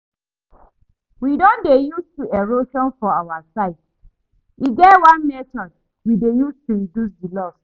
We don dey used to erosion for our side, e get one method we dey use to reduce the loss